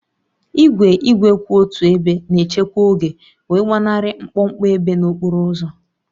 Igwe igwe kwụ otu ebe na-echekwa oge wee gbanarị mkpọmkpọ ebe n'okporo ụzọ